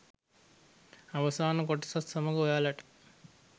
අවසාන කොටසත් සමඟ ඔයාලට